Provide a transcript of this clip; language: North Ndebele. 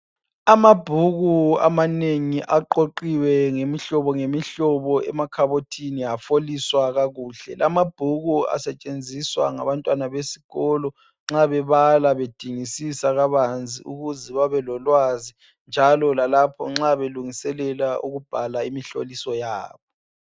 Amabhuku amanengi aqoqiwe ngemihlobo ngemihlobo emakhabothini afoliswa kakuhle. Lamabhuku asetshenziswa ngabantwana besikolo nxa bebala bedingisisa kabanzi ukuze babelolwazi njalo lalpho nxa belungiselela ukubhala imihloliso yabo